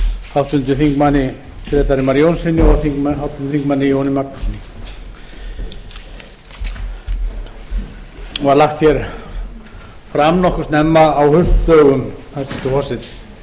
háttvirtur þingmaður grétari mar jónssyni og háttvirtum þingmanni jóni magnússyni var lagt fram nokkuð snemma á haustdögum hæstvirtur forseti